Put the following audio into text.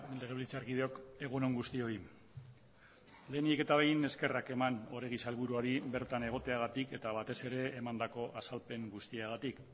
legebiltzarkideok egun on guztioi lehenik eta behin eskerrak eman oregi sailburuari bertan egoteagatik eta batez ere emandako azalpen guztiagatik